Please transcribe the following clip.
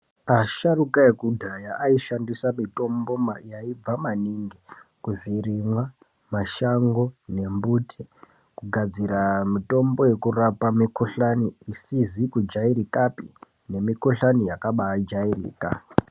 Asharuka ekudhaya aishandisa mitombo yaibva maningi ,kuzvirimwa, mashango, nembuti kugadzira mitombo yekurapa mikhuhlani isizi kujairikapi, nemikhuhlani yakabaajairika.